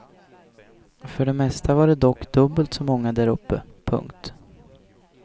För det mesta var det dock dubbelt så många där uppe. punkt